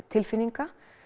tilfinninga